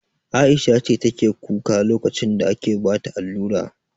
Aisha ce take kuka lokacin da ake bata allura?